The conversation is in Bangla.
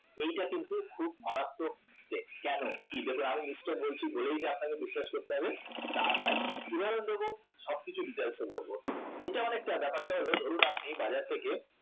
এটা কিন্তু খুব মারাত্মক mistake কেন কি জন্য এমন mistake বলছি সে আপনাকে বিশ্বাস করতে হবে তা নয় উদাহরণ দেবো সবকিছু details এ বলবো এটা অনেকটা ব্যাপারটা হলো ধরুন আপনি বাজার থেকে